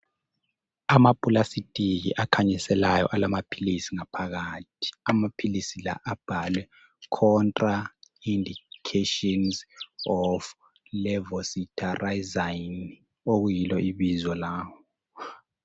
Amaphulasitiki akhanyiselayo alamaphilizi ngaphakathi, amaphilizi lawa abhalwe contra indications of levocetitizine, okuyilo ibizo lawo.